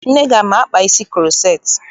Nne gị ama-akpa isi kuroceti?